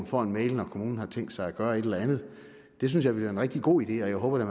får en mail når kommunen har tænkt sig at gøre et eller andet det synes jeg ville være en rigtig god idé og jeg håber da